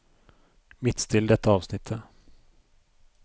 Midtstill dette avsnittet